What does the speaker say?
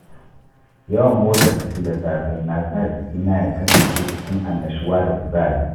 Yawan motsa jiki da safe na sa jikina ya kasance cikin annashuwa da kuzari.